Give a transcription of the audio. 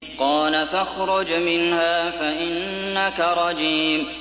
قَالَ فَاخْرُجْ مِنْهَا فَإِنَّكَ رَجِيمٌ